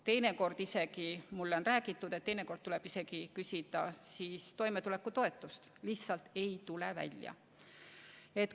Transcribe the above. Teinekord, nagu mulle on räägitud, tuleb isegi küsida toimetulekutoetust – lihtsalt ei tule välja.